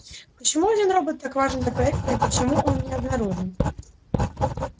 почему один робот так важен для проекта и почему он не обнаружен